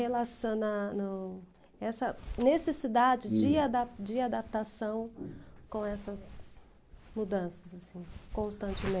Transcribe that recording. Relacionando, essa necessidade de ada de adaptação com essas mudanças assim,